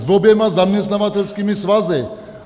S oběma zaměstnavatelskými svazy.